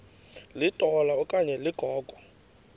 litola okanye ligogo